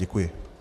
Děkuji.